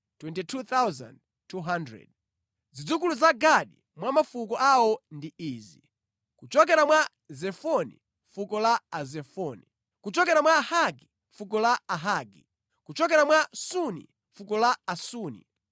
Zidzukulu za Gadi mwa mafuko awo ndi izi: kuchokera mwa Zefoni, fuko la Azefoni; kuchokera mwa Hagi, fuko la Ahagi; kuchokera mwa Suni, fuko la Asuni;